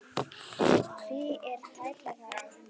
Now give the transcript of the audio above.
Því er tæplega hægt að kalla þennan atburð byltingu.